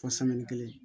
Fɔ kelen